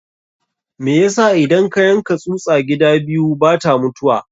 Me yasa idan ka yanka tsusa gida biyu bata mutuwa?